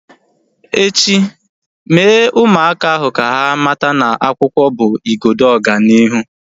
Echi, Mee ụmụaka ahu ka ha mata na akwụkwọ bụ igodo ọganihu